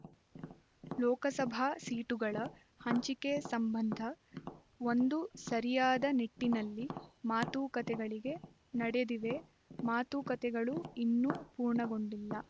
ಲೋಕಸಭಾ ಸೀಟುಗಳ ಹಂಚಿಕೆ ಸಂಬಂಧ ಒಂದು ಸರಿಯಾದ ನಿಟ್ಟಿನಲ್ಲಿ ಮಾತುಕತೆಗಳು ನಡೆದಿವೆ ಮಾತುಕತೆಗಳು ಇನ್ನು ಪೂರ್ಣಗೊಂಡಿಲ್ಲ